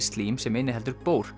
slím sem inniheldur